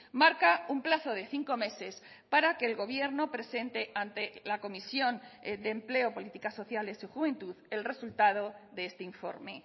marca un plazo de cinco meses para que el gobierno presente ante la comisión de empleo políticas sociales y juventud el resultado de este informe